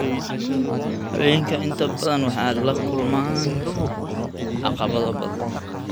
Haweenka inta badan waxay la kulmaan caqabado badan.